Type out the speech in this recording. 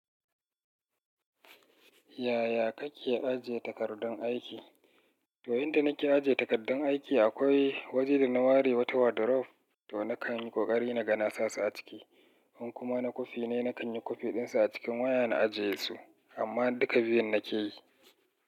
Yaya kake ajiye takardun aiki? Toyin da nake ajiye takaddun aiki, akwai waje da na ware wata wardrobe, to na kan yi ƙoƙari na ga nasa su a ciki. In kuma na kwafi ne, na kan yi kwafiɗin sa a cikin waya na ajiye su. Amma duka biyun nake yi.